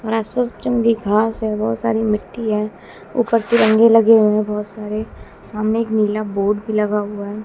और आसपास जंगली घास है बहोत सारी मिट्टी है ऊपर तिरंगे लगे हुए बहोत सारे सामने एक नीला बोड भी लगा हुआ है।